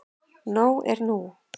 Nóg er nú.